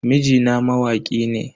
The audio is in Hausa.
Mijina mawaki ne.